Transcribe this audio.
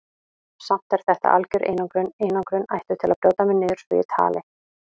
Samt er þetta algjör einangrun, einangrun ætluð til að brjóta mig niður svo ég tali.